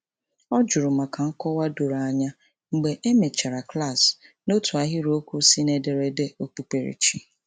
Ọ juru maka nkọwa doro anya mgbe e mechara klaasị n'otu ahịrịokwu si n'ederede okpukperechi.